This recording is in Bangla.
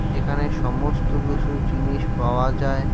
এখানে সমস্ত কিছু জিনিস পাওয়া যায়।